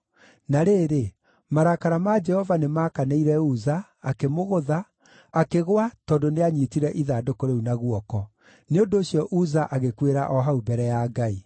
Na rĩrĩ, marakara ma Jehova nĩmakanĩire Uza, akĩmũgũtha, akĩgũa tondũ nĩanyiitire ithandũkũ rĩu na guoko. Nĩ ũndũ ũcio Uza agĩkuĩra o hau mbere ya Ngai.